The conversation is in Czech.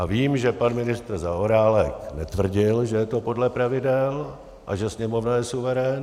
A vím, že pan ministr Zaorálek netvrdil, že je to podle pravidel a že Sněmovna je suverén.